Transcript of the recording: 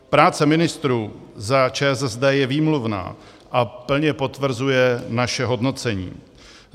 Práce ministrů za ČSSD je výmluvná a plně potvrzuje naše hodnocení.